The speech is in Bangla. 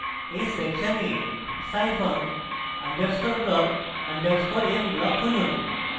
এই সেকশনে scifunc _ block _ m block খুঁজুন